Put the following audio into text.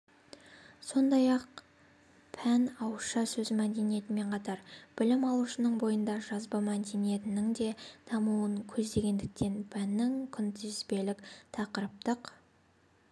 сондай-ақ пән ауызша сөз мәдениетімен қатар білім алушының бойында жазба мәдениеттің де дамуын көздегендіктен пәннің күнтізбелік-тақырыптық